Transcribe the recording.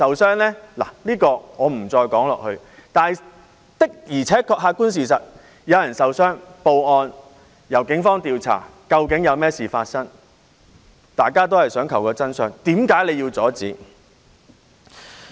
這一點我不再說下去，但的而且確，客觀事實是有人受傷，然後報案，由警方調查究竟發生甚麼事，大家都是想尋求真相，為何要阻止？